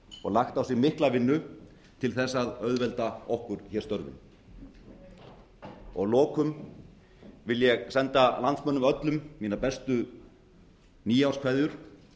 og lagt á sig mikla vinnu til þess að auðvelda okkur hér störfin að lokum vil ég senda landsmönnum öllum mínar bestu nýárskveðjur